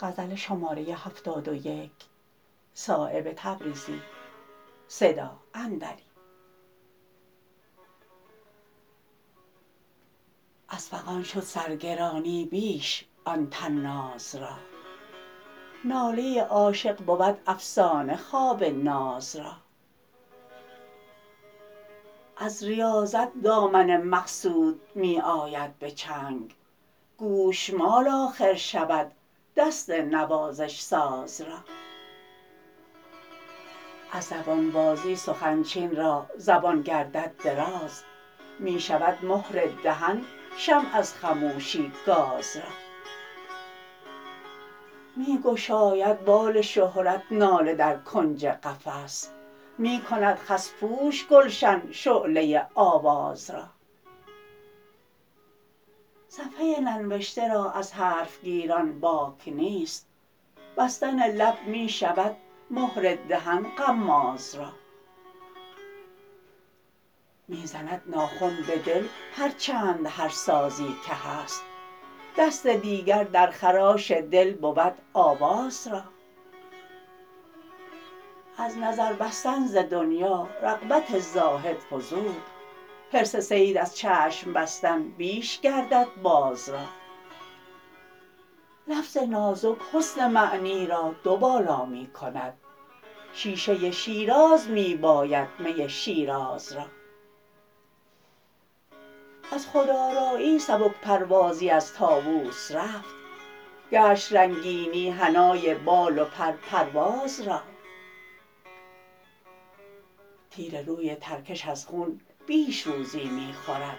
از فغان شد سر گرانی بیش آن طناز را ناله عاشق بود افسانه خواب ناز را از ریاضت دامن مقصود می آید به چنگ گوشمال آخر شود دست نوازش ساز را از زبان بازی سخن چین را زبان گردد دراز می شود مهر دهن شمع از خموشی گاز را می گشاید بال شهرت ناله در کنج قفس می کند خس پوش گلشن شعله آواز را صفحه ننوشته را از حرف گیران باک نیست بستن لب می شود مهر دهن غماز را می زند ناخن به دل هر چند هر سازی که هست دست دیگر در خراش دل بود آواز را از نظر بستن ز دنیا رغبت زاهد فزود حرص صید از چشم بستن بیش گردد باز را لفظ نازک حسن معنی را دو بالا می کند شیشه شیراز می باید می شیراز را از خود آرایی سبک پروازی از طاوس رفت گشت رنگینی حنای بال و پر پرواز را تیر روی ترکش از خون بیش روزی می خورد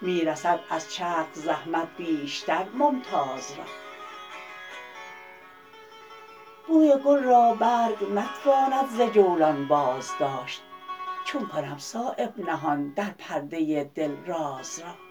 می رسد از چرخ زحمت بیشتر ممتاز را بوی گل را برگ نتواند ز جولان بازداشت چون کنم صایب نهان در پرده دل راز را